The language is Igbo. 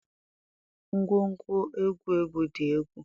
Ngwongwo egwu egwu di egwu